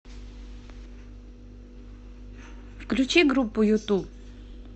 включи группу юту